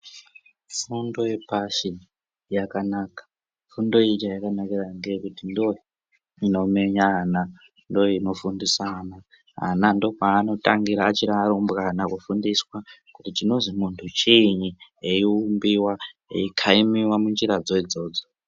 Fundo yepashi yakanaka fundo iyi chayakanakira ndiyo inomenya ana ndoinofundisa ana. Ana ndopanotangira achiri varumbwana kufundiswa kuti chinozi muntu chini eiumbiwa eikaimiwa munjiradzo idzodzo.